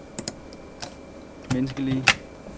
menneskelige